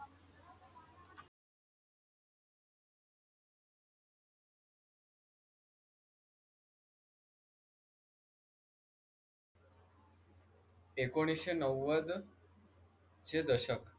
ऐकोनिसशे नव्वद चे दशक